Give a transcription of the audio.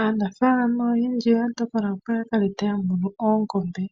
Aanafalama oyendji oya tokola opo yakale taya munu oongombe.